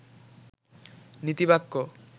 নীতিবাক্য